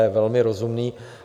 Je velmi rozumný.